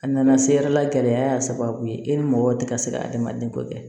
A nana se yɛrɛla gɛlɛya y'a sababu ye e ni mɔgɔ tɛ ka se ka adamaden kɔ kɛ